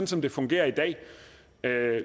som det fungerer i dag